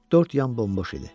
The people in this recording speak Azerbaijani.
Dörd yan bomboş idi.